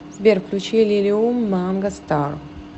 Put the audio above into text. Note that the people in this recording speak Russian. сбер включи лилиум манга стар